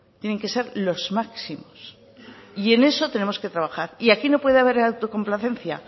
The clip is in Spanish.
tienen que ser los máximos y en eso tenemos que trabajar y aquí no puede haber autocomplacencia